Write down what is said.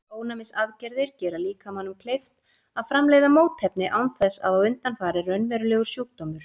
Ónæmisaðgerðir gera líkamanum kleift að framleiða mótefni án þess að á undan fari raunverulegur sjúkdómur.